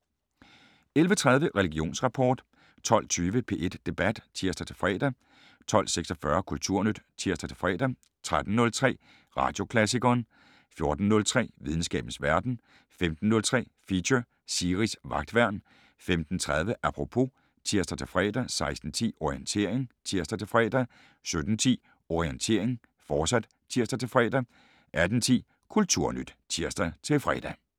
11:30: Religionsrapport 12:20: P1 Debat (tir-fre) 12:46: Kulturnyt (tir-fre) 13:03: Radioklassikeren 14:03: Videnskabens Verden 15:03: Feature: Siris Vagtværn 15:30: Apropos (tir-fre) 16:10: Orientering (tir-fre) 17:10: Orientering, fortsat (tir-fre) 18:10: Kulturnyt (tir-fre)